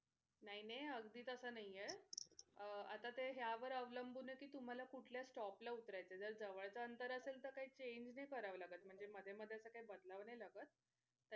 नाई नाई अगदी तस नाही आहे अह आत्ता ते ह्यावर अवलंबून कि तुम्हला कुठल्या stop ला उतरायचं जर जवळ आंतर असेल तर काही change नाही करावं लागत म्हणजे मध्ये मध्ये असं काही बदलावं नाही लागत